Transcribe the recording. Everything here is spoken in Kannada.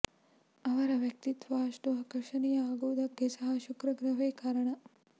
ಅವರ ವ್ಯಕ್ತಿತ್ವ ಅಷ್ಟು ಆಕರ್ಷಣೀಯ ಆಗುವುದಕ್ಕೆ ಸಹ ಶುಕ್ರ ಗ್ರಹವೇ ಕಾರಣ